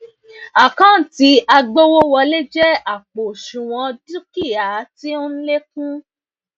àkántì agbowowole jẹ àpò òsùnwọn dúkìá tí o n lékún